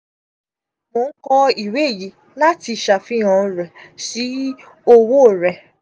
mo n kọ iwe yii lati ṣafihan rẹ si owo rẹ.